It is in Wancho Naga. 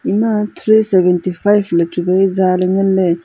eema three seventy five le chu wai jaa le nganle.